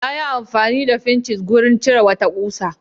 Yayi amfani da fincis wurin cire wata ƙusa.